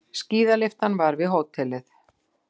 Skíðalyftan var við hótelið.